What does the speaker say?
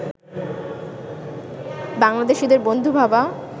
বাংলাদেশিদের বন্ধু ভাবা